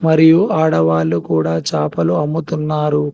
మరియు ఆడవాళ్లు కూడా చాపలు అమ్ముతున్నారు